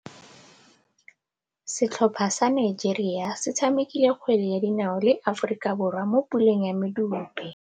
Setlhopha sa Nigeria se tshamekile kgwele ya dinaô le Aforika Borwa mo puleng ya medupe.